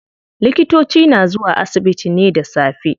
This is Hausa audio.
Likitoci na zuwa asibiti ne da safe.